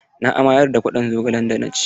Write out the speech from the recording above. Na amayar da kwaɗon zogalen da na ci.